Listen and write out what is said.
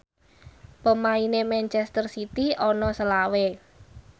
pemaine manchester city ana selawe